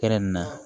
Kɛrɛnkɛrɛn na